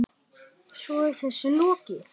Svo er þessu lokið?